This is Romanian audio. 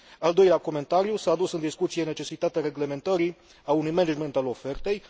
Al doilea comentariu s a adus în discuție necesitatea reglementării, a unui management al ofertei.